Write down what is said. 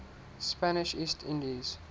spanish east indies